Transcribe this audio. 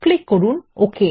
click করুন okay